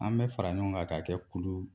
An bɛ fara ɲɔgɔn kan k'a kɛ kulu